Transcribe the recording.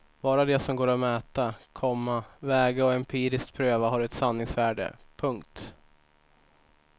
Bara det som går att mäta, komma väga och empiriskt pröva har ett sanningsvärde. punkt